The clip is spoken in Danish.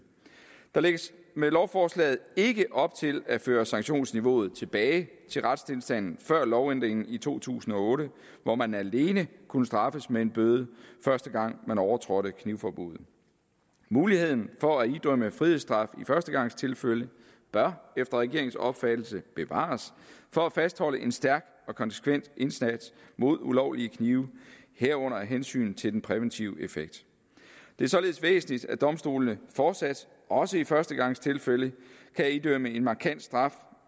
der lægges med lovforslaget ikke op til at føre sanktionsniveauet tilbage til retstilstanden før lovændringen i to tusind og otte hvor man alene kunne straffes med en bøde første gang man overtrådte knivforbuddet muligheden for at idømme frihedsstraf i førstegangstilfælde bør efter regeringens opfattelse bevares for at fastholde en stærk og konsekvent indsats mod ulovlige knive herunder hensynet til den præventive effekt det er således væsentligt at domstolene fortsat også i førstegangstilfælde kan idømme en markant straf